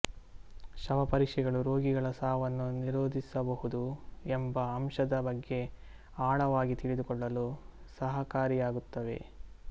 ಶವಪರೀಕ್ಷೆಗಳು ರೋಗಿಗಳ ಸಾವನ್ನು ನಿರೋಧಿಸಬಹುದು ಎಂಬ ಅಂಶದ ಬಗ್ಗೆ ಆಳವಾಗಿ ತಿಳಿದುಕೊಳ್ಳಲು ಸಹಕಾರಿಯಾಗುತ್ತವೆ